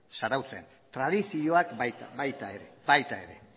zarautzen tradizioak baita ere baita ere